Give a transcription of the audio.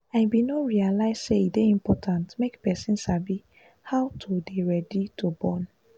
i bin no realize say e dey important make person sabi how to de ready to born